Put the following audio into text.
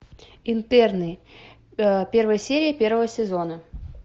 интерны первая серия первого сезона